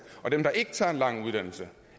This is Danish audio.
og dem der ikke tager en lang uddannelse